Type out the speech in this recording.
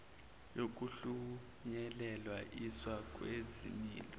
yokuhlunyelel iswa kwezimilo